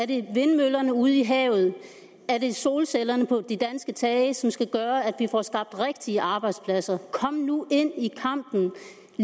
det vindmøllerne ude i havet er det solcellerne på de danske tage som skal gøre at vi får skabt rigtige arbejdspladser kom nu ind i kampen